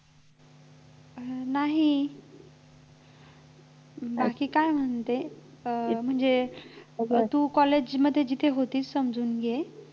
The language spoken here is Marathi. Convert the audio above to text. नाही बाकी काय म्हणते अं म्हणजे तू college मध्ये जिथे होतीस अजून हि आहेस